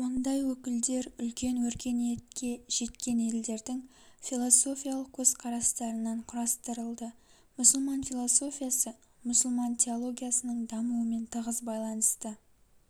ондай өкілдер үлкен өркениетке жеткен елдердің философиялық көзқарастарынан кұрастырылды мұсылман философиясы мұсылман теологиясының дамуымен тығыз байланысты